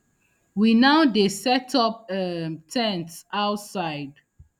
we now dey set up um ten ts outside